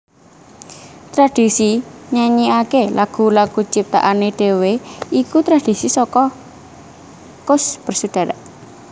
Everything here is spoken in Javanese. Tradhisi nyanyikaké lagu lagu ciptaané dhewé iku tradhisi saka Koes Bersaudara